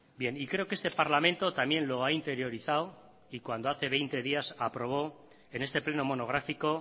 bien y creo que este parlamento también lo ha interiorizado y cuando hace veinte días aprobó en este pleno monográfico